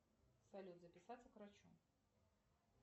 салют записаться к врачу